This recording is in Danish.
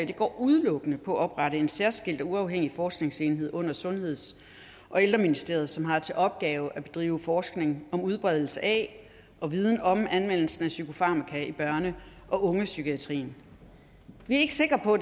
går udelukkende på at oprette en særskilt og uafhængig forskningsenhed under sundheds og ældreministeriet som har til opgave at drive forskning om udbredelsen af og viden om anvendelsen af psykofarmaka i børne og ungdomspsykiatrien vi er ikke sikre på